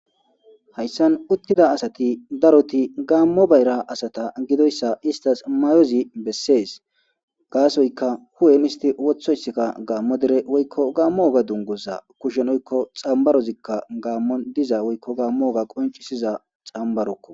hayssan uttida asati daroti gaammo bayra asata gidoyssa istas mayozi bessees gaasoyka hu7en isti wothoysikka gaammo dere woykko gaammo oga dungoza kushenoykko xambarozikka gaammon diza woykko gaammo oga qoncisiza xambarokko